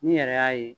N'i yɛrɛ y'a ye